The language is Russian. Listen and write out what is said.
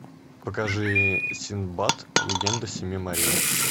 покажи синдбад легенда семи морей